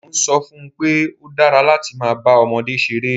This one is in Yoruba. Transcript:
Mo ń sọ fún un pé ó dára láti máa bá ọmọdé ṣeré